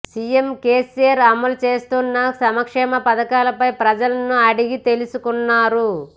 CM KCR అమలు చేస్తున్న సంక్షేమ పథకాలపై ప్రజలను అడిగి తెలుసుకున్నారు